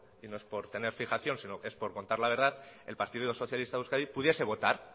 y no es por tener fijación sino es por contar la verdad el partido socialista de euskadi pudiese votar